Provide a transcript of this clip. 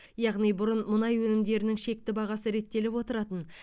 яғни бұрын мұнай өнімдерінің шекті бағасы реттеліп отыратын